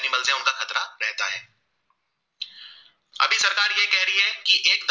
की एकदम